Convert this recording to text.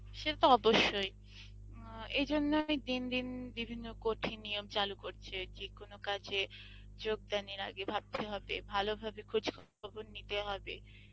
সে তো অবশ্যই অ্যাঁ এই জন্যই দিন দিন বিভিন্ন কঠিন নিয়ম চালু করছে যে কোনো কাজ এ যোগ দান এর আগে ভাবতে হবে, ভালো ভাবে খোজ খবর নিতে হবে